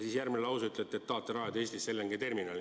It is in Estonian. Ja järgmises lauses ütlete, et tahate rajada Eestisse LNG terminali.